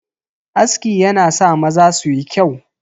Aski yana sa maza suyi kyau.